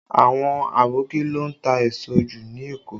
Àwọn Aboki ló ń ta èso jù ní Èkó